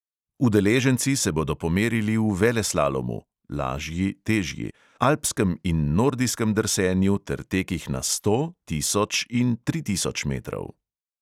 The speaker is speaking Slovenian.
Udeleženci se bodo pomerili v veleslalomu (lažji, težji), alpskem in nordijskem drsenju ter tekih na sto, tisoč in tri tisoč metrov.